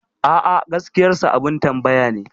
A'a, gaskiyarsa abin tambaya ne.